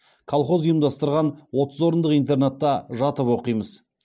колхоз ұйымдастырған отыз орындық интернатта жатып оқимыз